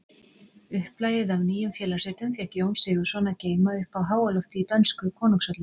Upplagið af Nýjum félagsritum fékk Jón Sigurðsson að geyma uppi á háalofti í dönsku konungshöllinni.